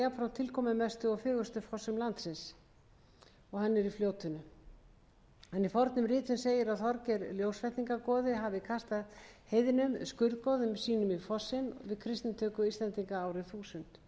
tilkomumestu og fegurstu fossum landsins er í fljótinu í fornum ritum segir að þorgeir ljósvetningagoði að hafa kastað heiðnum skurðgoðum sínum í fossinn við kristnitöku íslendinga árið þúsund skjálfandafljót á þó einnig